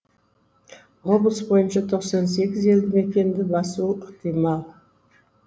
облыс бойынша тоқсан сегіз елді мекенді басуы ықтимал